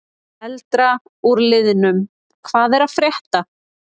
Eldra úr liðnum: Hvað er að frétta?